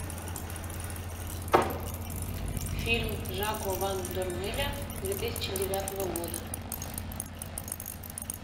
фильм жако ван дормеля две тысячи девятого года